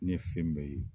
Ne fe yen